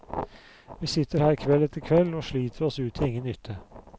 Vi sitter her kveld etter kveld og sliter oss ut til ingen nytte.